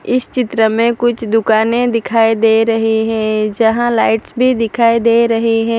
इस चित्र में कुछ दुकानें दिखाई दे रही हैं जहां लाइट्स भी दिखाई दे रही हैं।